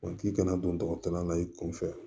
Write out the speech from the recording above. Wa k'i kana don dɔgɔtɔrɔ la i kunfɛ